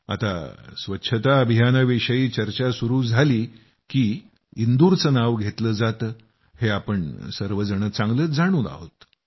आता स्वच्छता अभियानाविषयी चर्चा सुरू झाली की इंदूरचं नाव घेतलं जातं हे आपण सर्वजण चांगलंच जाणून आहोत